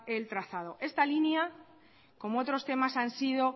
el trazado esta línea como otros temas han sido